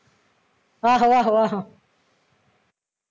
ਆਹੋ ਆਹੋ